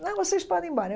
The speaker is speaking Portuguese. Não, vocês podem ir embora.